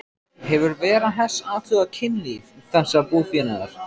Hefur Vera Hess athugað kynlíf þessa búfénaðar?